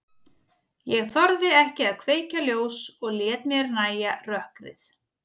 Ég þorði ekki að kveikja ljós og lét mér nægja rökkrið.